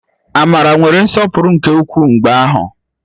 Amara nwere nsọpụrụ nke ukwuu mgbe ahụ